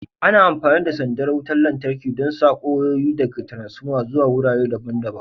Ana amfani da sandar wutar lantarki don sako wayoyi daga taransfoma zuwa wurare daban-daban.